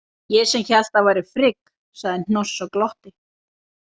Ég sem hélt að það væri Frigg, sagði Hnoss og glotti.